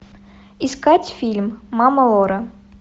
искать фильм мама лора